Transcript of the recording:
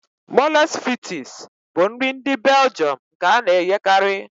Mòles fritịs s bụ nri ndị Beljọm nke a na-eghekarị